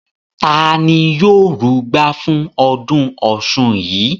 Ta Ni yóò rugbá fún ọdún ọ̀ṣun yìí?